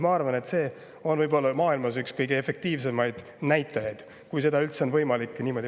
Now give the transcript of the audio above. Ma arvan, et see on maailmas üks kõige efektiivsemaid näitajaid, kui seda on üldse võimalik mõõta.